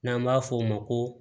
N'an b'a f'o ma ko